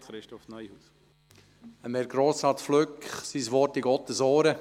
Das Wort von Herrn Grossrat Flück in Gottes Ohr!